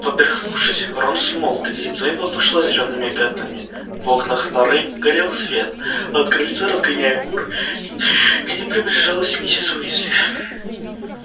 поперхнувшись рон смолк и лицо его пошло зелёными пятнами в окнах норы горел свет а от крыльца разгоняя кур к ним приближалась миссис уизли